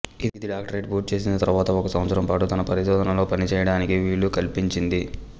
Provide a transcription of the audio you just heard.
ఇది డాక్టరేట్ పూర్తి చేసిన తరువాత ఒక సంవత్సరం పాటు తన పరిశోధనలో పనిచేయడానికి వీలు కల్పించింది